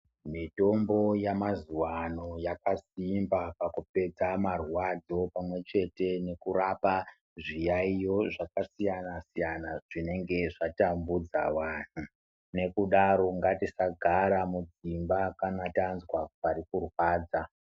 Mitombo yamazuwaano yakasimba pakupedza marwadzo pamwechete nekurapa zviyaiyo zvakasiyanasiyana zvinenge zvatambudza wana ngekudaro ngatisagara mudzimba kana tazwa parikurwadza .